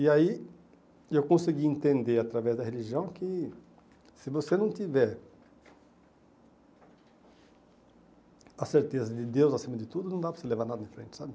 E aí eu consegui entender, através da religião, que se você não tiver a certeza de Deus acima de tudo, não dá para você levar nada em frente, sabe?